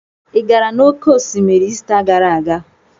Ị gara n'oké osimiri Ista gara aga?